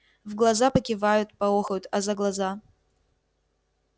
в глаза покивают поохают а за глаза